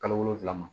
Kalo wolonfila ma